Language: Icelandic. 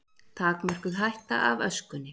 Takmörkuð hætta af öskunni